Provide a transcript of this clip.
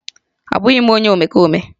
Abụghị m onye omekome